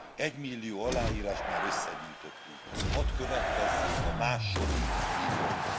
Egymillió aláírást már összegyűjtöttünk, hadd következzék a második millió.